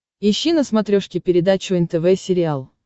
ищи на смотрешке передачу нтв сериал